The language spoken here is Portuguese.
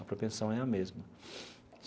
A propensão é a mesma.